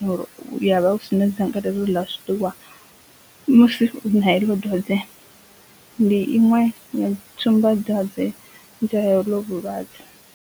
ya uri u avha u sina dzangalelo ḽa zwiḽiwa musi u na heḽo dwadze ndi iṅwe tsumba dwadze dza heḽo vhulwadze.